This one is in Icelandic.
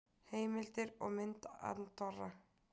Heimildir og mynd Andorra.